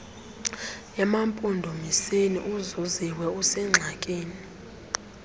emampondomiseni uzuziwe usengxakini